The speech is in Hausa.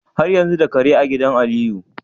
Har yanzu da Kare a gidan Aliyu?